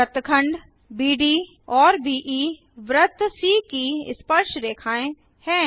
वृत्तखंड बीड और बीई वृत्त सी की स्पर्शरेखाएँ हैं